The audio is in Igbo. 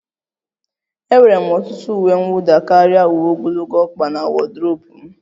Enwere m ọtụtụ uwe mwụda karịa uwe ogologo ọkpa na wodrobu m